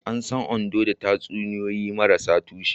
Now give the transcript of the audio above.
An san Ondo da tatsuniyoyi marasa tushe.